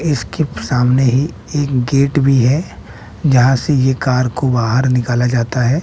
इसके सामने ही एक गेट भी है जहां से ये कार को बाहर निकाला जाता हैं।